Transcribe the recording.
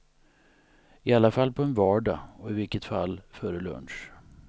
I alla fall på en vardag och i vilket fall före lunch.